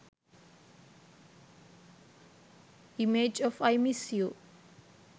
image of i miss you